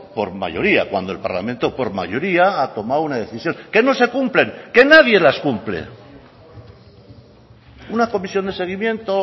por mayoría cuando el parlamento por mayoría ha tomado una decisión que no se cumplen que nadie las cumple una comisión de seguimiento